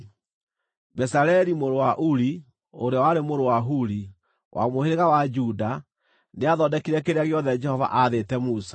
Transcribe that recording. (Bezaleli mũrũ wa Uri, ũrĩa warĩ mũrũ wa Huri, wa mũhĩrĩga wa Juda, nĩathondekire kĩrĩa gĩothe Jehova aathĩte Musa;